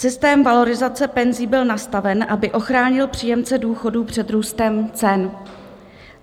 Systém valorizace penzí byl nastaven, aby ochránil příjemce důchodů před růstem cen.